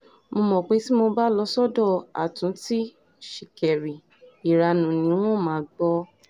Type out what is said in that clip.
mo mọ̀ pé tí mo bá lọ sọ́dọ̀ àtúntí ṣìkẹ̀rì ìranu ni n óò máa gbọ́